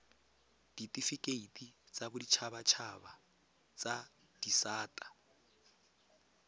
ditifikeiti tsa boditshabatshaba tsa disata